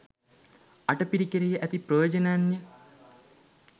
අටපිරිකරෙහි ඇති ප්‍රයෝජනයන්ය.